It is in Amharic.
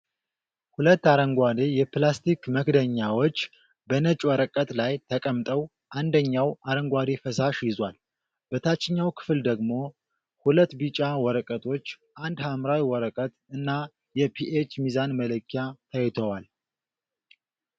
ሁለት አረንጓዴ የፕላስቲክ መክደኛዎች በነጭ ወረቀት ላይ ተቀምጠው አንደኛው አረንጓዴ ፈሳሽ ይዟል። በታችኛው ክፍል ደግሞ ሁለት ቢጫ ወረቀቶች፣ አንድ ሐምራዊ ወረቀት እና የፒኤች ሚዛን መለኪያ ታይተዋል።